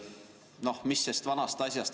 Noh, mis sest vanast asjast.